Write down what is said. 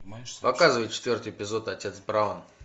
показывай четвертый эпизод отец браун